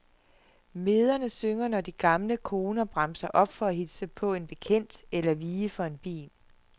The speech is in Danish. Mederne synger, når de gamle koner bremser op for at hilse på en bekendt eller vige for en bil.